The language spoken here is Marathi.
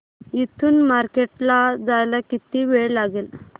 इथून मार्केट ला जायला किती वेळ लागेल